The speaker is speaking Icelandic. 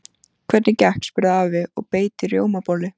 Hvernig gekk? spurði afi og beit í rjómabollu.